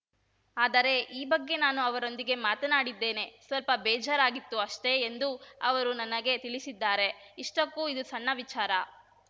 ಆದರೆ ಈ ಬಗ್ಗೆ ನಾನು ಅವರೊಂದಿಗೆ ಮಾತನಾಡಿದ್ದೇನೆ ಸ್ವಲ್ಪ ಬೇಜಾರಾಗಿತ್ತು ಅಷ್ಟೇ ಎಂದು ಅವರು ನನಗೆ ತಿಳಿಸಿದ್ದಾರೆ ಇಷ್ಟಕ್ಕೂ ಇದು ಸಣ್ಣ ವಿಚಾರ